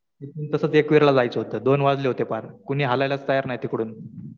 तसंच एकविरा ला जायचं होतं. दोन वाजले पार. कुणी हलायलाच तयार नाही तिकडून.